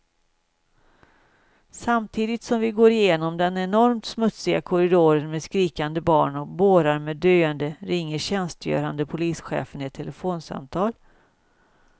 Samtidigt som vi går genom den enormt smutsiga korridoren med skrikande barn och bårar med döende ringer tjänstgörande polischefen ett telefonsamtal.